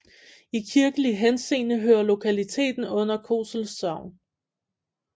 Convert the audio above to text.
I kirkelig henseende hører lokaliteten under Kosel Sogn